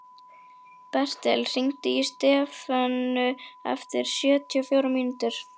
Bertel, hringdu í Stefönu eftir sjötíu og fjórar mínútur.